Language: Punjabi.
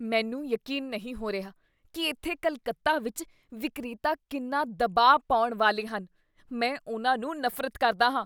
ਮੈਨੂੰ ਯਕੀਨ ਨਹੀਂ ਹੋ ਰਿਹਾ ਕੀ ਇੱਥੇ ਕੱਲਕੱਤਾ ਵਿੱਚ ਵਿਕਰੇਤਾ ਕਿੰਨਾ ਦਬਾਅ ਪਾਉਣ ਵਾਲੇ ਹਨ। ਮੈਂ ਉਹਨਾਂ ਨੂੰ ਨਫ਼ਰਤ ਕਰਦਾ ਹਾਂ।